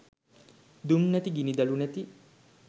දුම් නැති ගිනි දළු නැති